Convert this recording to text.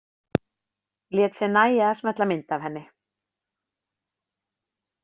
Lét sér nægja að smella mynd af henni.